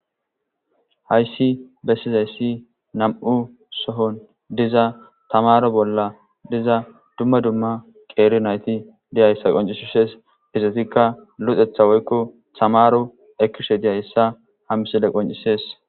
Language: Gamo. hayssi bessizayssi nam7u sohon diza tamaro bolla diza dumma dumma qeeri nayti diyayssa qoncishishes izatikka luxetha woykko tamaro ekkishe diyayssa ha misile qoncisees